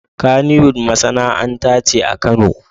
Kaniwood masanaanta ce akano